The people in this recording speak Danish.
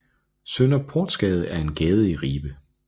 Sønderportsgade er en gade i Ribe